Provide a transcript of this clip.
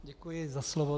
Děkuji za slovo.